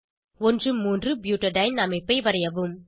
13 butadiene அமைப்பை வரைவோம்